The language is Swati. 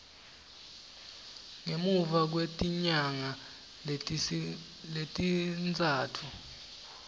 ngemuva kwetinyanga letintsatfu